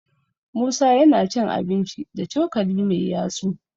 musa yana cin abinci da cokali Mai yatsu